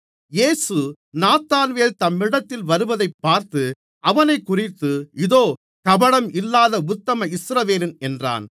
இயேசு நாத்தான்வேல் தம்மிடத்தில் வருவதைப் பார்த்து அவனைக்குறித்து இதோ கபடம் இல்லாத உத்தம இஸ்ரவேலன் என்றார்